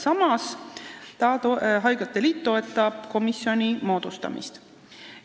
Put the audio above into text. Samas toetab haiglate liit komisjoni moodustamist.